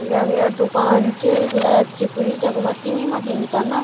यख या दुकान च लैब च कुई जख मशीन ही मशीन छन।